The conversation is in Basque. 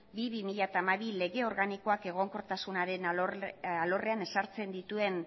bi barra bi mila hamabi lege organikoak egonkortasunaren alorrean ezartzen dituen